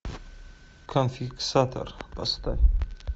конфискатор поставь